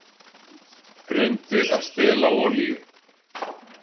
Reyndu að stela olíu